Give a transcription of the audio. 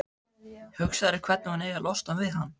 Hugsar um hvernig hún eigi að losna við hann.